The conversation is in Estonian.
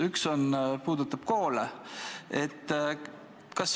Üks puudutab koole.